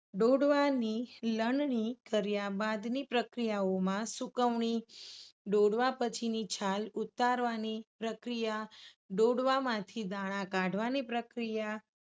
ડોડવાની લણણી કર્યા બાદની પ્રક્રિયાઓમાં સુકવણી, ડોડવા પછી ની છાલ ઉતારવાની પ્રક્રિયા, ડોડવામાંથી દાણા કાઢવાની પ્રક્રિયા